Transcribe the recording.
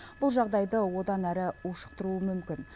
бұл жағдайды одан әрі ушықтыруы мүмкін